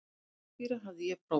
Rakspíra hafði ég prófað.